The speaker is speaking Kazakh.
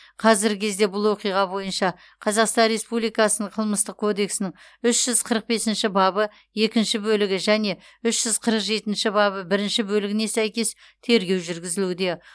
қазіргі кезде бұл оқиға бойынша қазақстан республикасының қылмыстық кодексінің үш жүз қырық бесінші бабы екінші бөлігіне және үш жүз қырық жетінші бабы бірінші бөлігіне сәйкес тергеу жүргізілуде